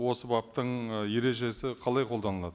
осы баптың ы ережесі қалай қолданылады